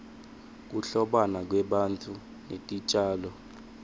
kuhlobana kwebantfu netitjalo